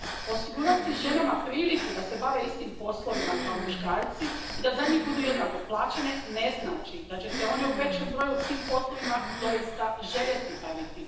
Osigurati ženama priliku da se bave istim poslovima kao muškarci i da za njih budu jednako plaćene ne znači da će se one u većem broju tim poslovima doista željeti baviti.